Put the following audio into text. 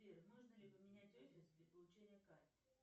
сбер можно ли поменять офис для получения карты